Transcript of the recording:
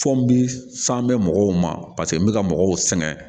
Fɔ n bi san bɛ mɔgɔw ma n bɛ ka mɔgɔw sɛgɛn